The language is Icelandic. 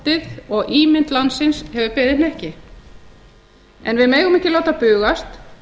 þjóðarstoltið og ímynd landsins hefur beðið hnekki en við megum ekki láta bugast